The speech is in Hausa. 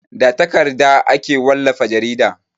Da takarda ake wallafa jarida.